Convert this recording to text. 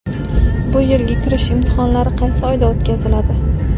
Bu yilgi kirish imtihonlari qaysi oyda o‘tkaziladi?.